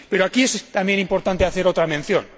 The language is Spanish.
Pero aquí es también importante hacer otra mención.